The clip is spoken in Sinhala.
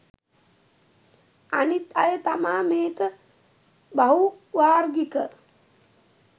අනිත් අය තමා මේක බහු වාර්ගික